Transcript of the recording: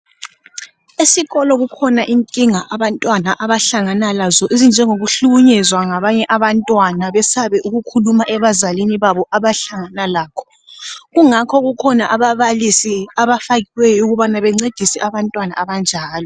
Esikolo kukhona inkinga abantwana abahlangana lazo ezinjengoku hlukunyezwa ngabanye abantwana besabe ukukhuluma ebazalini babo abahlangana lakho kungakho kukhona ababalisi abafakiweyo ukuba bencedise abantwana abanjalo.